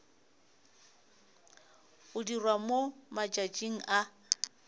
go dirwa mo matšatšing a